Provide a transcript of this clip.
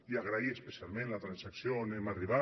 i agrair especialment la transacció on hem arribat